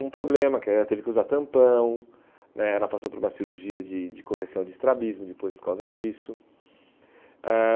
Um problema, que ela teve que usar tampão né, ela passou por uma cirurgia de de correção de estrabismo depois por causa disso. Ãh